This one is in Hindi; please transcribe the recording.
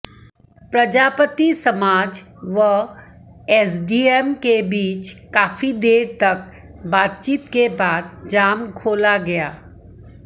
प्रजापति समाज व एसडीएम के बीच काफी देर तक बातचीत के बाद जाम खोला गया